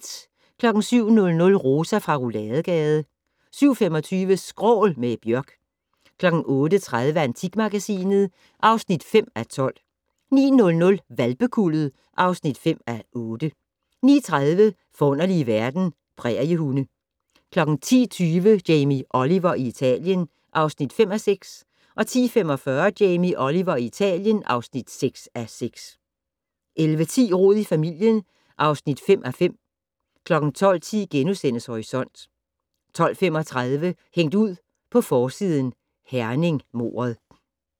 07:00: Rosa fra Rouladegade 07:25: Skrål - med Björk 08:30: Antikmagasinet (5:12) 09:00: Hvalpekuldet (5:8) 09:30: Forunderlige verden - Præriehunde 10:20: Jamie Oliver i Italien (5:6) 10:45: Jamie Oliver i Italien (6:6) 11:10: Rod i familien (5:5) 12:10: Horisont * 12:35: Hængt ud på forsiden: Herning-mordet